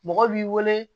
Mɔgɔ b'i wele